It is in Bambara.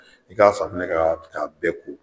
I ka safunɛ kɛ ka bɛɛ ko